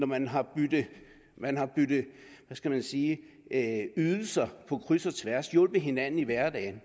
man har byttet hvad skal jeg sige ydelser på kryds og tværs og hjulpet hinanden i hverdagen